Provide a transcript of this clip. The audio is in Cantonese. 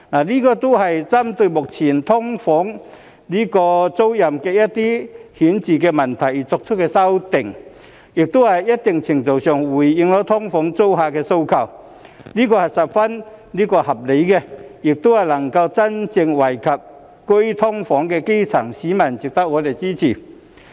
這些都是針對目前"劏房"租賃的一些顯著問題而作出的修訂，在一定程度上回應了"劏房"租客的訴求，是十分合理的，亦能夠真正惠及居於"劏房"的基層市民，值得我們支持。